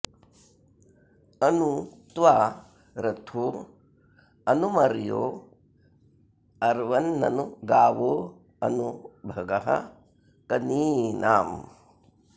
अनु त्वा रथो अनु मर्यो अर्वन्ननु गावोऽनु भगः कनीनाम्